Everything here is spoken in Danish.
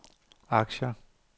aktier